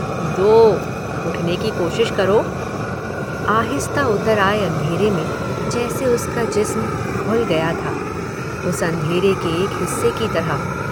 दो, उठने की कोशिश करो। आहिस्ता उतर आए अंधेरे में जैसे उसका जिस्म घुल गया था, उस अंधेरे के एक हिस्से की तरह।